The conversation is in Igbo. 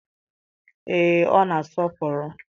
ee, ọ na-asọpụrụ.